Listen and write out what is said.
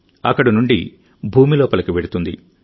అక్కడి నుండి భూమి లోపలికి వెళ్తుంది